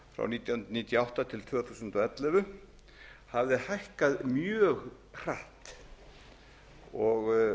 nítján hundruð níutíu og átta til tvö þúsund og ellefu hafði hækkað mjög hratt og